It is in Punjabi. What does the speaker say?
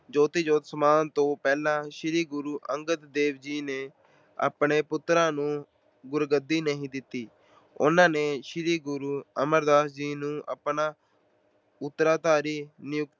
ਜੋਤੀ ਜੋਤ ਸਮਾਉਣ ਤੋਂ ਪਹਿਲਾਂ ਸ਼੍ਰੀ ਗੁਰੂ ਅੰਗਦ ਦੇਵ ਜੀ ਨੇ ਆਪਣੇ ਪੁੱਤਰਾਂ ਨੂੰ ਗੁਰਗੱਦੀ ਨਹੀਂ ਦਿੱਤੀ। ਉਹਨਾਂ ਨੇ ਸ਼੍ਰੀ ਗੁਰੂ ਅਮਰਦਾਸ ਜੀ ਨੂੰ ਆਪਣਾ ਉਤਰਾਧਿਕਾਰੀ ਨਿਯੁਕਤ